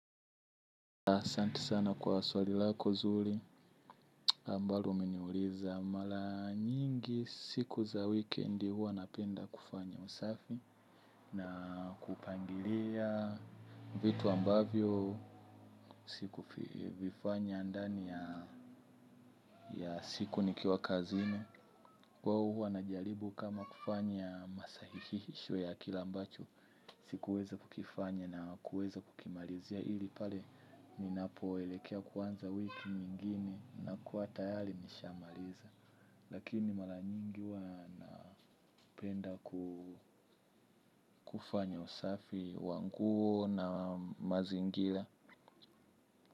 Asante sana kwa swali lako zuri ambalo umeniuliza. Mala nyingi siku za weekendi huwa napenda kufanya usafi. Na kupangilia vitu ambavyo siku vifanya ndani ya siku nikiwa kazine. Kwa huwa na jaribu kama kufanya masahihisho ya kilambacho sikuweza kukifanya na kuweza kukimalizia ili pale ninapo elekea kuanza wiki mingini na kuwa tayali nishamaliza. Lakini malanyingi wana penda kufanya usafi wa nguo na mazingila.